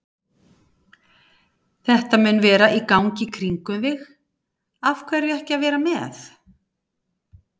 Þetta mun vera í gangi í kringum þig, af hverju ekki að vera með?